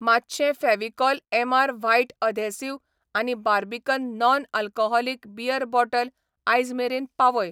मातशें Fevicol MR white adhesive आनी Barbican non alcoholic beer bottle आयज मेरेन पावय.